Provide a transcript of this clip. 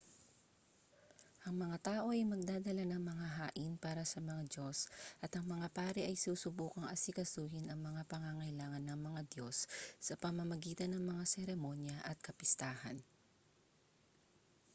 ang mga tao ay magdadala ng mga hain para sa mga diyos at ang mga pari ay susubukang asikasuhin ang mga pangangailangan ng mga diyos sa pamamagitan ng mga seremonya at kapistahan